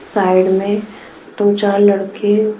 side में दो-चार लड़के--